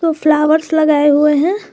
व फ्लॉवर्स लगाये हुए है।